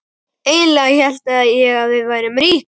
Eiginlega hélt ég að við værum rík.